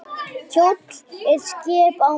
Kjóll er skip á mar.